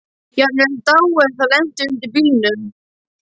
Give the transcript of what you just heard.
Jafnvel dáið ef það lenti undir bílnum.